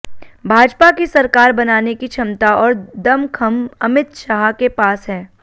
भाजपा की सरकार बनाने की क्षमता और दमखम अिमत शाह के पास है